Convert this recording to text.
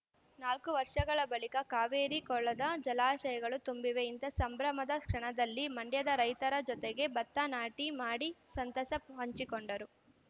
ನಾಲ್ಕು ವರ್ಷಗಳ ಬಳಿಕ ಕಾವೇರಿ ಕೊಳ್ಳದ ಜಲಾಶಯಗಳು ತುಂಬಿವೆ ಇಂಥ ಸಂಭ್ರಮದ ಕ್ಷಣದಲ್ಲಿ ಮಂಡ್ಯದ ರೈತರ ಜೊತೆಗೆ ಭತ್ತ ನಾಟಿ ಮಾಡಿ ಸಂತಸ ಹಂಚಿಕೊಂಡರು